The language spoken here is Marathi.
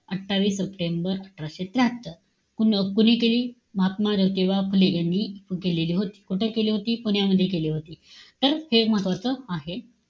अठ्ठावीस सप्टेंबर अठराशे त्र्याहत्तर. कुण कोणी केली? महात्मा ज्योतिबा फुले यांनी सुरु केलेली होती. कुठे केली होती? पुण्यामध्ये केली होती. तर हे महत्वाचं आहे.